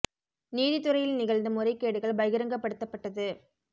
நீதித் துறையில் நிகழ்ந்த முறை கேடுகள் பகிரங்கப்படுத்தப்பட்டது